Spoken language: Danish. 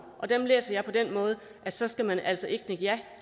og dem læser jeg på den måde at så skal man altså ikke nikke ja